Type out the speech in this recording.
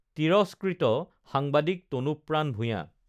তিৰস্কৃত সাংবাদিক তনুপ্ৰাণ ভূঞা